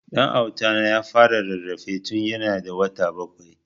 Dan Auta na ya fara rarrafe tun ya na da wata bakwai